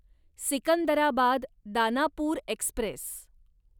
Secunderabad Danapur Express